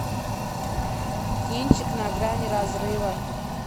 кинчик на грани разрыва